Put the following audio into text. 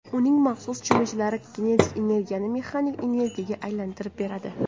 Uning maxsus cho‘michlari kinetik energiyani mexanik energiyaga aylantirib beradi.